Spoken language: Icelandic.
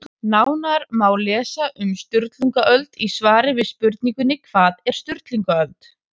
Nánar má lesa um Sturlungaöld í svari við spurningunni Hvað var Sturlungaöld?